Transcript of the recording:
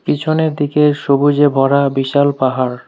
পিছনের দিকে সবুজে ভরা বিশাল পাহাড়।